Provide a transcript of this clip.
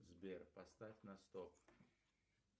сбер поставь на стоп